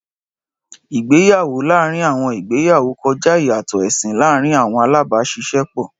Ìgbéyàwó láàárín àwọn ìgbéyàwó kọjá ìyàtọ̀ ẹ̀sìn láàárín àwọn alábàáṣiṣẹ́pọ̀.